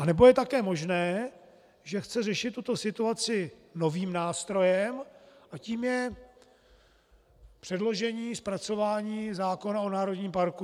A nebo je také možné, že chce řešit tuto situaci novým nástrojem a tím je předložení, zpracování zákona o národním parku.